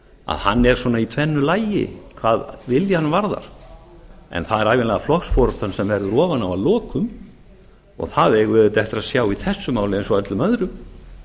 að hann er svona í tvennu lagi hvað viljann varðar en það er ævinlega flokksforustan sem verður ofan á að lokum og það eigum við auðvitað eftir að sjá í þessu máli eins og öllum öðrum